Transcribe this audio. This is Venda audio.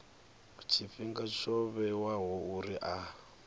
tshifhinga tsho vhewaho uri a